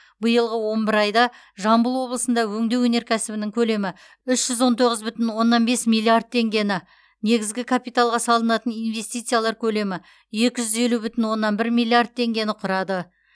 биылғы он бір айда жамбыл облысында өңдеу өнеркәсібінің көлемі үш жүз он тоғыз бүтін оннан бес миллиард теңгені негізгі капиталға салынатын инвестициялар көлемі екі жүз елу бүтін оннан бір миллиард теңгені құрады